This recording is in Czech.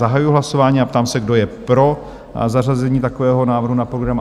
Zahajuji hlasování a ptám se, kdo je pro zařazení takového návrhu na program?